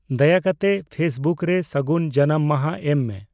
ᱫᱟᱭᱟᱠᱟᱛᱮ ᱯᱷᱮᱹᱥᱵᱩᱠ ᱨᱮ ᱥᱟᱜᱩᱱ ᱡᱟᱱᱟᱢ ᱢᱟᱦᱟ ᱮᱢ ᱢᱮ ᱾